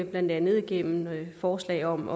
blandt andet gennem forslag om